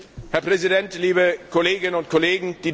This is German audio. Herr Präsident, liebe Kolleginnen und Kollegen!